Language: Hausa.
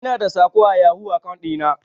Ina da saƙo a yahoo akaun ɗi na.